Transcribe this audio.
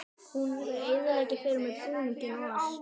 Hún er að eyðileggja fyrir mér búninginn og allt.